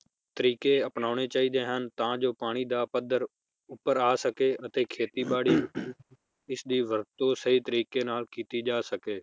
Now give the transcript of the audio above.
ਤਰੀਕੇ ਅਪਨਾਉਣੇ ਚਾਹੀਦੇ ਹਨ ਤਾਂ ਜੋ ਪਾਣੀ ਦਾ ਪੱਦਰ ਉਪਰ ਆ ਸਕੇ ਅਤੇ ਖੇਤੀ ਬਾੜੀ ਇਸ ਦੀ ਵਰਤੋਂ ਸਹੀ ਤਰੀਕੇ ਨਾਲ ਕੀਤੀ ਜਾ ਸਕੇ